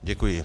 Děkuji.